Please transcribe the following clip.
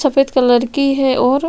सफ़ेद कलर की है और--